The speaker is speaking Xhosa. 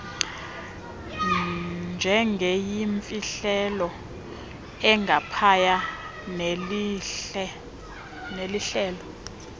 njengeyimfihlelo engaphaya nelihlelo